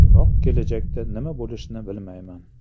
Biroq kelajakda nima bo‘lishini bilmayman.